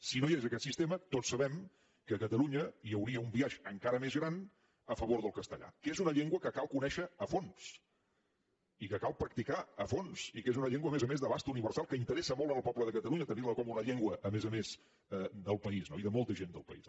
si no hi hagués aquest sistema tots sabem que a catalunya hi hauria un biaix encara més gran a favor del castellà que és una llengua que cal conèixer a fons i que cal practicar a fons i que és una llengua a més a més d’abast universal que interessa molt al poble de catalunya tenir la com una llengua a més a més del país i de molta gent del país